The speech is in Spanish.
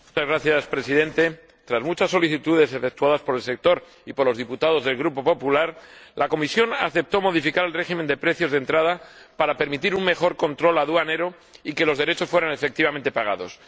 Señor Presidente, tras muchas solicitudes efectuadas por el sector y por los diputados del Grupo Popular, la Comisión aceptó modificar el régimen de precios de entrada, para permitir un mejor control aduanero y que los derechos fueran efectivamente pagados.